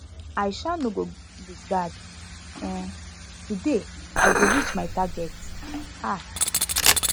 i um no go go loose guard um today i go reach my target um